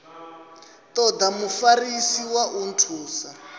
toda mufarisi wa u nthusa